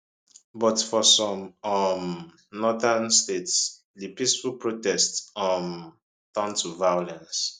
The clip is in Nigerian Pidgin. but for some um northern states di peaceful protests um turn to violence